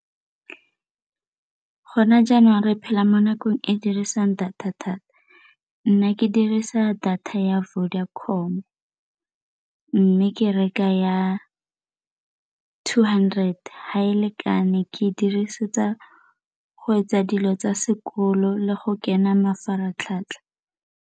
Gone jaanong re phela mo nakong e dirisang data thata. Nna ke dirisa data ya Vodacom mme ke reka ya two hundred, ga e lekane, ke e dirisetsa go etsa dilo tsa sekolo le go kena mafaratlhatlha.